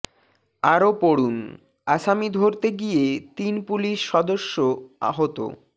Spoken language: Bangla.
আরো পড়ুন আসামি ধরতে গিয়ে তিন পুলিশ সদস্য আহত